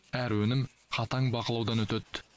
әр өнім қатаң бақылаудан өтеді